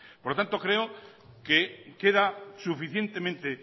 por lo tanto creo que queda suficientemente